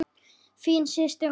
Þín systir Rósa.